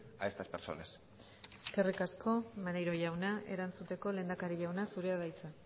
a estas personas eskerrik asko maneiro jauna erantzuteko lehendakari jauna zurea da hitza